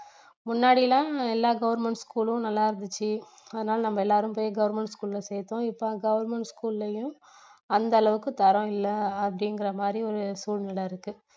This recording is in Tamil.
முன்னாடிலாம் எல்லா government school லும் நல்லா இருந்துச்சு அதனால நம்ம எல்லாரும் போய் government school ல சேர்த்தோம். இப்போ government school லயும் அந்த அளவுக்கு தரம் இல்ல அப்படிங்குற மாதிரி ஒரு சூழ்நிலை இருக்கு